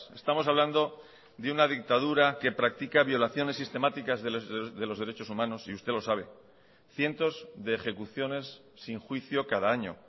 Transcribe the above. estamos hablando de una dictadura que practica violaciones sistemáticas de los derechos humanos y usted lo sabe cientos de ejecuciones sin juicio cada año